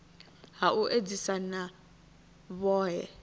ha u edzisa na vhohe